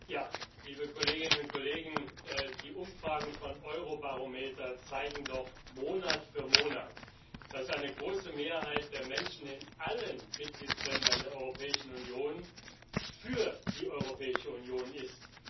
Herr Präsident, liebe Kolleginnen und Kollegen! Die Umfragen von Eurobarometer zeigen doch Monat für Monat, dass eine große Mehrheit der Menschen in allen Mitgliedstaaten der Europäischen Union für die Europäische Union ist.